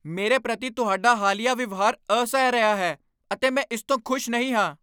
ਮੇਰੇ ਪ੍ਰਤੀ ਤੁਹਾਡਾ ਹਾਲੀਆ ਵਿਵਹਾਰ ਅਸਹਿ ਰਿਹਾ ਹੈ ਅਤੇ ਮੈਂ ਇਸ ਤੋਂ ਖੁਸ਼ ਨਹੀਂ ਹਾਂ।